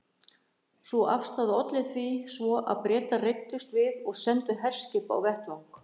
Sú afstaða olli því svo að Bretar reiddust við og sendu herskip á vettvang.